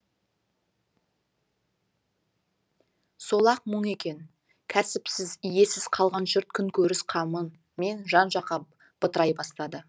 сол ақ мұң екен кәсіпсіз иесіз қалған жұрт күнкөріс қамымен жан жаққа бытырай бастады